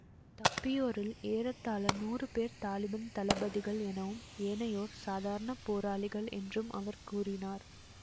தப்பியோரில் ஏறத்தாழ நூறு பேர் தலிபான் தளபதிகள் எனவும் ஏனையோர் சாதாரண போராளிகள் என்றும் அவர் கூறினார்